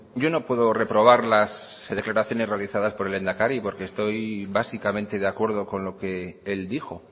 yo no puedo reprobarlas las declaraciones realizadas por el lehendakari porque estoy básicamente de acuerdo con lo que él dijo